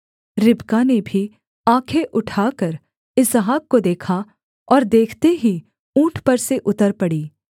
रिबका ने भी आँखें उठाकर इसहाक को देखा और देखते ही ऊँट पर से उतर पड़ी